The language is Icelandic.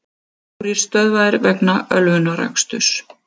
Fjórir stöðvaðir vegna ölvunaraksturs